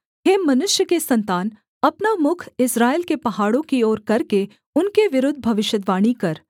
हे मनुष्य के सन्तान अपना मुख इस्राएल के पहाड़ों की ओर करके उनके विरुद्ध भविष्यद्वाणी कर